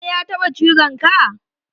Kare yataba cizon ka?